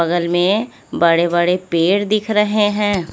बगल में बड़े बड़े पेड़ दिख रहे हैं।